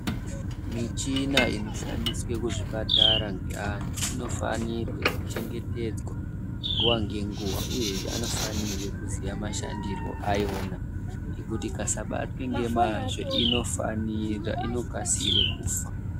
Michina inoshandiswe kuzvipatara ngeantu inofanirwe kuchengetedzwa nguva ngenguva uyezve anofanirwe kuziya mashandiro ayo ngekuti ikasabatwa nemazvo inokasire kufa